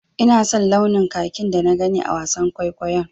Ina son launin kakin da na gani a wasan kwaikwayon.